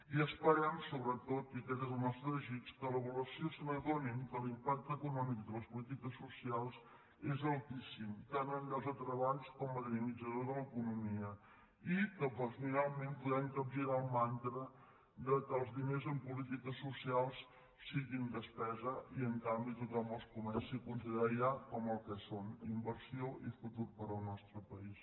i esperem sobretot i aquest és el nostre desig que a l’avaluació s’adonin que l’impacte econòmic de les polítiques socials és altíssim tant en llocs de treball com com a dinamitzador de l’economia i que finalment puguem capgirar el mantra que els diners en polítiques socials siguin despesa i a canvi tothom els comenci a considerar ja com el que són inversió i futur per al nostre país